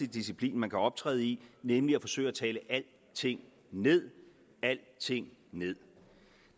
disciplin man kan optræde i nemlig at forsøge at tale alting ned alting ned